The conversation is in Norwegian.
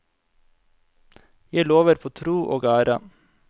Jeg lover på tro og ære.